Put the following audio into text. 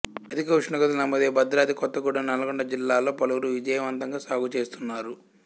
అధిక ఉష్ణోగ్రతలు నమోదయ్యే భద్రాద్రి కొత్తగూడెం నల్గొండ జిల్లాల్లో పలువురు విజయవంతంగా సాగు చేస్తున్నారు